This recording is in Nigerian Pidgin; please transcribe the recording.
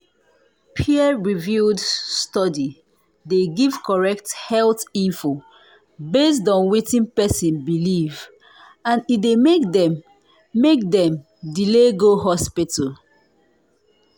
peer-reviewed study dey give correct health info based on wetin person believe and e dey make dem make dem delay go hospital.